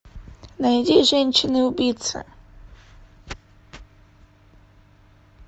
найди женщины убийцы